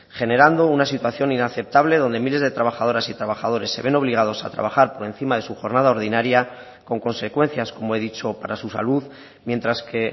generando una situación inaceptable donde miles de trabajadoras y trabajadores se ven obligados a trabajar por encima de su jornada ordinaria con consecuencias como he dicho para su salud mientras que